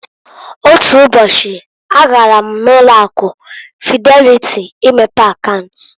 Otu ụbọchị a gara m na ụlo akụ Fideliti imepe akaunt.